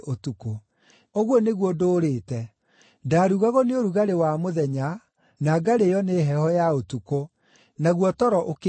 Ũguo nĩguo ndũũrĩte: Ndaarugagwo nĩ ũrugarĩ wa mũthenya na ngarĩĩo nĩ heho ya ũtukũ, naguo toro ũkĩnjũrĩra.